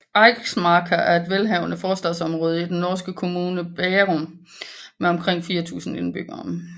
Eiksmarka er et velhavende forstadsområde i den norske kommune Bærum med omkring 4000 indbyggere